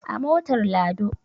A motar lado